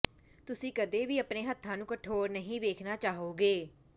ਤੁਸੀਂ ਕਦੇ ਵੀ ਆਪਣੇ ਹੱਥਾਂ ਨੂੰ ਕਠੋਰ ਨਹੀਂ ਵੇਖਣਾ ਚਾਹੋਗੇ